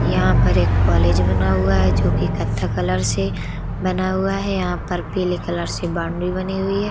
यहाँ पर एक कॉलेज बना हुआ हैं जोकि कथ्थई कलर से बना हुआ है। यहाँ पर पीले कलर से बाउंड्री बनी हुई है।